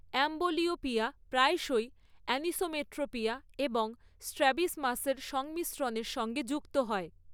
Amblyopia প্রায়শই anisometropia এবং স্ট্রাবিসমাসের সংমিশ্রণের সঙ্গে যুক্ত হয়।